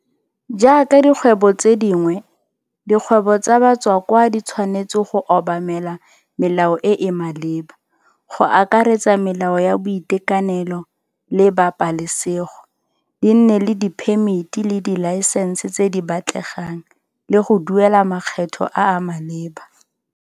Jaaka dikgwebo tse dingwe, dikgwebo tsa batswakwa di tshwanetse go obamela melao e e maleba, go akaretsa melao ya boitekanelo le pabalesego, di nne le diphemiti le dilaesense tse di batlegang, le go duela makgetho a a maleba.